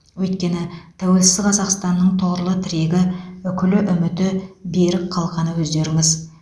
өйткені тәуелсіз қазақстанның тұғырлы тірегі үкілі үміті берік қалқаны өздеріңіз